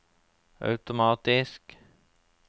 automatisk